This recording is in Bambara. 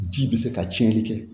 Ji bɛ se ka cɛnni kɛ